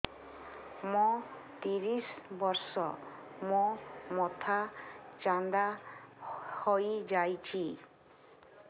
ମୋ ତିରିଶ ବର୍ଷ ମୋ ମୋଥା ଚାନ୍ଦା ହଇଯାଇଛି